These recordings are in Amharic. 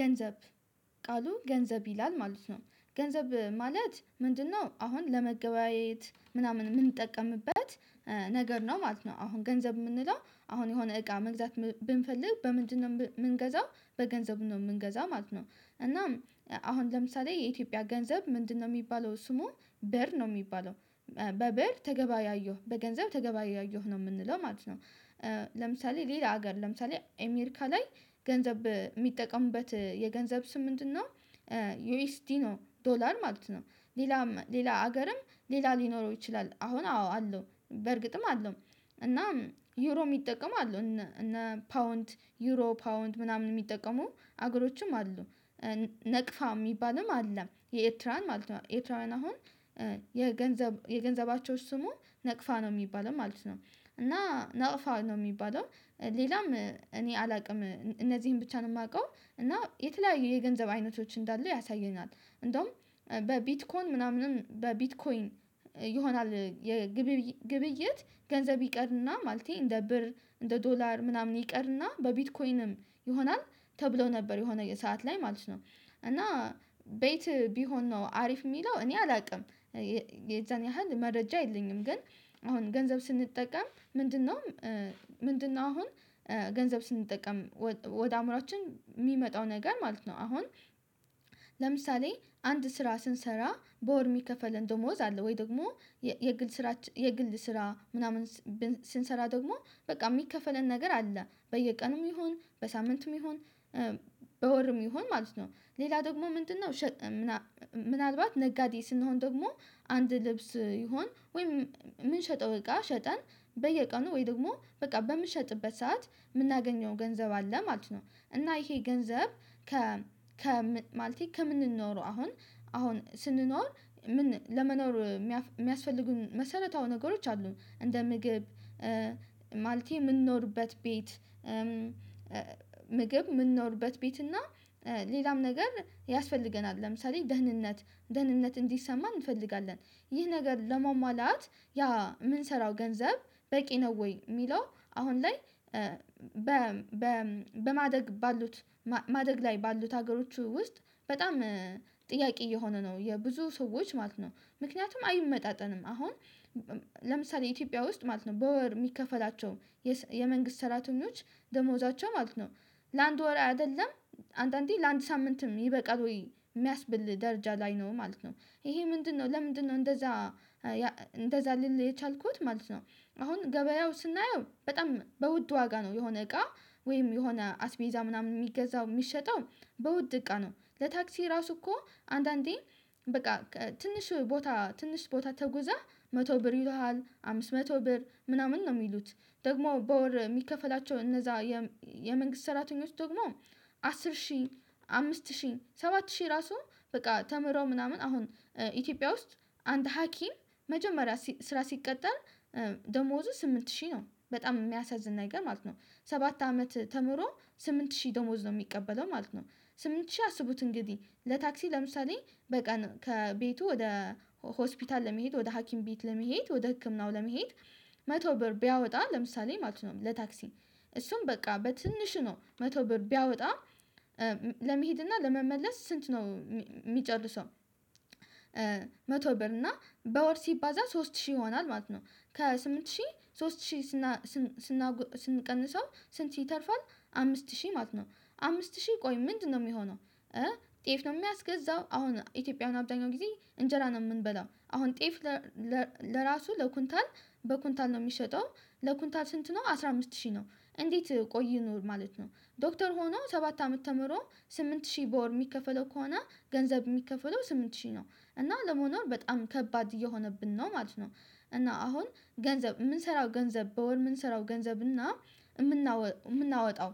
ገንዘብ ቃሉ ገንዘብ ይላል ማለት ነው ገንዘብ ማለት ምንድነው? አሁን ለመገበያየት ምናምን የምንጠቀምበት ነገር ነው ማለት ነው። አሁን ገንዘብ የምንለው አሁን የሆነ እቃ መግዛት ብንፈልግ በምንድነው የምንገዛው? በገንዘብ ነው የምንገዛው ማለት ነው። እናም አሁን ለምሳሌ የኢትዮጵያ ገንዘብ ምንድነው? የሚባለው ስሙ ብር ነው የሚባለው በብር ተገባያየሁ በገንዘብ ተገባ ያየሁ ነው የምንለው ማለት ነው። ለምሳሌ ሌላ ሀገር ለምሳሌ ኤሜሪካ ላይ ገንዘብ የሚጠቀምቡት የገንዘብ ስም ምንድነው? ዩኤስዲ ነው ዶላር ማለት ነው። ሌላም ሌላ ሀገርም ሌላ ሊኖረው ይችላል አሁን አዎ አለው በእርግጥም አለው። እና ዩሮ የሚጠቀሙ አሉ እነ ፓውንድ ዩሮ ፓውንድ ምናምን የሚጠቀሙ አገሮችም አሉ። ናቅፋ የሚባልም አለ የኤርትራን ማለት ነው። ኤርትራውያን አሁን የገንዘብ የገንዘባቸው ስሙ ነቅፋ ነው የሚባለው ማለት ነው። እና ነቅፋ ነው የሚባለው ሌላም እኔ አላውቅም እነዚህን ብቻ ነው የማውቀው። እና የተለያዩ የገንዘብ አይነቶች እንዳሉ ያሳየናል። እንደውም በቢትኮይን ምናምንም በቢትኮይን ይሆናል የግብይት ገንዘብ ይቀርና ማለቴ እንደ ብር እንደ ዶላር ምናምን ይቀርና በቢትኮይንም ይሆናል ተብሎ ነበር የሆነ ሰዓት ላይ ማለት ነው። እና ቤት ቢሆን ነው አሪፍ የሚለው እኔ አላውቅም። የዛን ያህል መረጃ የልኝም ግን አሁን ገንዘብ ስንጠቀም ምንድነው? ምንድነው? አሁን ገንዘብ ስንጠቀም ወደ አእምሮአችን የሚመጣው ነገር ማለት ነው። አሁን ለምሳሌ አንድ ስራ ስንሰራ በወር የሚከፈልን ደሞዝ አለ ወይ ደግሞ የግል ስራ የግል ስራ ምናምን ስንሰራ ደግሞ በቃ የሚከፈለን ነገር አለ በየቀኑም ይሁን በሳምንቱም ይሁን። በወርም ይሁን ማለት ነው ሌላ ደግሞ ምንድነው? ሸጠን ምናልባት ነጋዴ ስንሆን ደግሞ አንድ ልብስ ይሁን ወይም የምንሸጠው እቃ ሸጠን በየቀኑ ወይ ደግሞ በቃ በምንሸጥበት ሰዓት የምናገኘው ገንዘብ አለ ማለት ነው። እና ይሄ ገንዘብ ከማለቴ ከምንኖረው አሁን አሁን ስንኖር ለመኖር የሚያስፈልጉን መሰረታዊ ነገሮች አሉ እንደ ምግብ። ማለቴ የምንኖርበት ቤት ምግብ የምንኖርበት ቤት እና ሌላም ነገር ያስፈልገናል ለምሳሌ ደህንነት ደህንነት እንዲሰማን እንፈልጋለን። ይህ ነገር ለማማላት ያ የምንሰራው ገንዘብ በቂ ነው ወይ የሚለው? አሁን ላይ በማደግ ባሉት ማደግ ላይ ባሉት ሀገሮች ውስጥ በጣም ጥያቄ እየሆነ ነው የብዙ ሰዎች ማለት ነው ምክንያቱም አይመጣጠንም አሁን። ለምሳሌ ኢትዮጵያ ውስጥ ማለት ነው በወር የሚከፈላቸው የመንግስት ሰራተኞች ደሞዛቸው ማለት ነው። ለአንድ ወር አይደለም አንዳንዴ ለአንድ ሳምንትም ይበቃል ወይ የሚያስብል ደረጃ ላይ ነው ማለት ነው። ይሄ ምንድነው ለምንድነው እንደዛ? እንደዛ ልል የቻልኩት ማለት ነው። አሁን ገበያው ስናየው በጣም በውድ ዋጋ ነው የሆነ እቃ ወይም የሆነ አስቤዛ ምናምን የሚገዛው የሚሸጠው በውድ እቃ ነው ለታክሲ ራሱ እኮ። አንዳንዴ በቃ ትንሽ ቦታ ትንሽ ቦታ ተጉዘህ መቶ ብር ይሉሃል አምስት መቶ ብር ምናምን ነው የሚሉት። ደግሞ በወር የሚከፈላቸው እነዛ የመንግስት ሰራተኞች ደግሞ አስር ሺህ አምስት ሺህ ሰባት ሺህ ራሱ በቃ ተምሮ ምናምን አሁን ኢትዮጵያ ውስጥ አንድ ሀኪም መጀመሪያ ስራ ሲቀጠል ደሞዙ ስምንት ሺህ ነው በጣም የሚያሳዝን ነገር ማለት ነው። ሰባት አመት ተምሮ ስምንት ሺህ ደሞዝ ነው የሚቀበለው ማለት ነው። ስምንት ሺህ አስቡት እንግዲህ ለታክሲ ለምሳሌ በቃ ከቤቱ ወደ ሆስፒታል ለመሄድ ወደ ሀኪም ቤት ለመሄድ ወደ ህክምናው ለመሄድ። መቶ ብር ቢያወጣ ለምሳሌ ማለት ነው ለታክሲ እሱም በቃ በትንሹ ነው መቶ ብር ቢያወጣ። ለመሄድ እና ለመመለስ ስንት ነው የሚጨርሰው? መቶ ብር እና በወር ሲባዛ ሶስት ሺህ ይሆናል ማለት ነው። ከስምንት ሺህ ሶስት ሺህ ስንቀንሰው ስንት ይተርፋል? አምስት ሺህ ማለት ነው። አምስት ሺህ ቆይ ምንድነው የሚሆነው? ጤፍ ነው የሚያስገዛው አሁን ኢትዮጵያውያን አብዛኛው ጊዜ እንጀራ ነው የምንበላው አሁን ጤፍ። ለራሱ ለኩንታል በኩንታል ነው የሚሸጠው። ለኩንታል ስንት ነው አስራ አምስት ሺህ ነው። እንዴት ቆይ ይኖር ማለት ነው? ዶክተር ሆኖ ሰባት አመት ተምሮ ስምንት ሺህ በወር የሚከፈለው ከሆነ ገንዘብ የሚከፈለው ስምንት ሺህ ነው። እና ለመኖር በጣም ከባድ እየሆነብን ነው ማለት ነው። እና አሁን ገንዘብ የምንሰራው ገንዘብ በወር የምንሰራው ገንዘብ እና የምናወጣው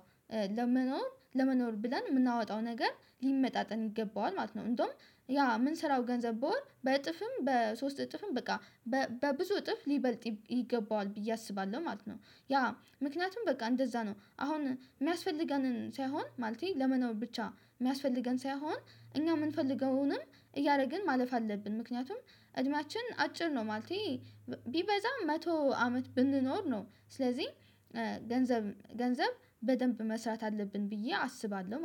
ለመኖር ለመኖር ብለን የምናወጣው ነገር ሊመጣጠን ይገባዋል ማለት ነው። እንደውም ያ የምንሰራው ገንዘብ በወር በእጥፍም በሶስት እጥፍም በቃ በብዙ እጥፍ ሊበልጥ ይገባዋል ብዬ አስባለሁ ማለት ነው። ያ ምክንያቱም በቃ እንደዛ ነው አሁን የሚያስፈልገንን ሳይሆን ማለቴ ለመኖር ብቻ የሚያስፈልገን ሳይሆን። እኛ የምንፈልገውንም እያደረግን ማለፍ አለብን። ምክንያቱም እድሜያችን አጭር ነው። ማለቴ ቢበዛም መቶ አመት ብንኖር ነው። ስለዚህ ገንዘብ ገንዘብ በደንብ መስራት አለብን ብዬ አስባለሁ